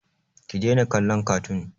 Ki daina kallon katun!